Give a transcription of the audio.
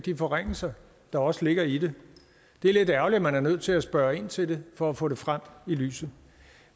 de forringelser der også ligger i det det er lidt ærgerligt at man er nødt til at spørge ind til det for at få det frem i lyset